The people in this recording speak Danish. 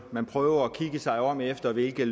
man prøver at kigge sig om efter hvilke